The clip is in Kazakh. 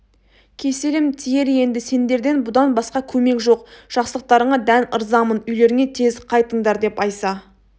кеселім тиер енді сендерден бұдан басқа көмек жоқ жақсылықтарыңа дән ырзамын үйлеріңе тез қайтыңдар деп айса